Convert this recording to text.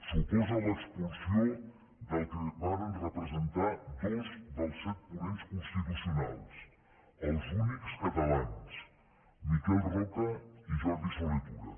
suposa l’expulsió del que varen representar dos dels set ponents constitucionals els únics catalans miquel roca i jordi solé tura